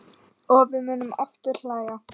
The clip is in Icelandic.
Og við munum aftur hlæja.